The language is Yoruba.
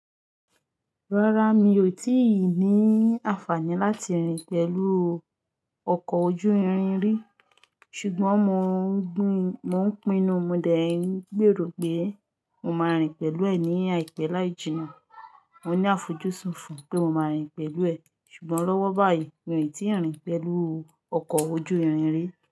Rárá, mi ò tí ì ní àǹfààní láti rìn pẹ̀lú ọkọ̀ ojú irin rí. Ṣùgbọ́n mo ń pinnu, mo dẹ̀ yín gbèrò pé mo máa rìn pẹ̀lú ẹ ní àìpẹ́ láì jìnnà. Mo ní àfojúsùn fún pé mo máa rìn pẹ̀lú ẹ, ṣùgbọ́n lọ́wọ́ báyìí mi ò tí ì rìn pẹ̀lú ọkọ̀ ojú irin rí.